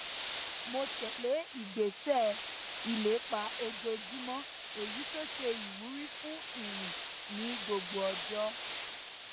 mo tẹlé ìgbésẹ ìlépa ojoojúmọ èyí tó ṣe ìwúrí fún ìrìn ní gbogbo ọjọ